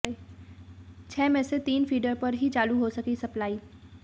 छह में से तीन फीडर पर ही चालू हो सकी सप्लाई